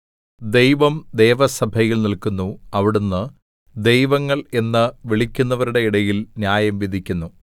ദൈവം ദേവസഭയിൽ നില്ക്കുന്നു അവിടുന്ന് ദൈവങ്ങള്‍ എന്ന് വിളിക്കുന്നവരുടെ ഇടയിൽ ന്യായം വിധിക്കുന്നു